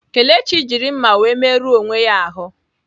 Kelechi jiri mma were merụọ onwe ya ahụ.